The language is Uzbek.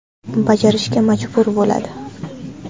Bajarishga majbur bo‘ladi.